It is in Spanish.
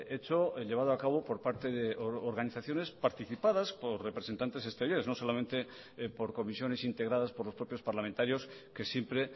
hecho llevado a cabo por parte de organizaciones participadas por representantes exteriores no solamente por comisiones integradas por los propios parlamentarios que siempre